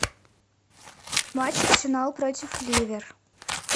матч арсенал против ливер